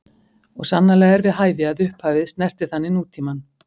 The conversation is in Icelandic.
Og sannarlega er við hæfi, að upphafið snerti þannig nútímann.